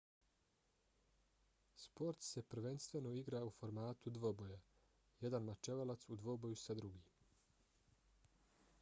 sport se prvenstveno igra u formatu dvoboja jedan mačevalac u dvoboju sa drugim